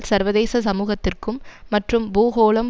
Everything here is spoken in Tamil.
சர்வதேச சமூகத்திற்கும் மற்றும் பூகோளம்